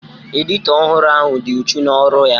Edito ọhụrụ ahụ dị uchu n'ọrụ ya